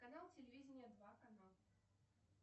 канал телевидения два канал